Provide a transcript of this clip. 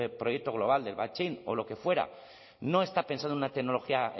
proyecto global de o lo que fuera no está pensado en una tecnología